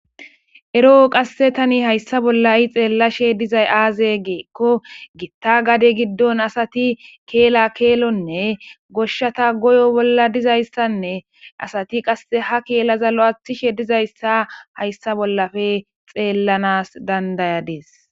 Ero qasse tani hayssa bolla i xeellashe dizay aazegeekko gitta gade giddon asati keela keelonne goshshata goyo bolla dizayssanne asati qasse ha keelaza lo7athishe dizayssa hayssa bollafe xeellanas dandayadees.